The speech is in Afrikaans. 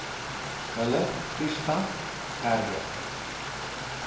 hulle toestand erger